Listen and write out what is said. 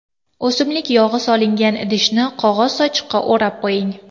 O‘simlik yog‘i solingan idishni qog‘oz sochiqqa o‘rab qo‘ying.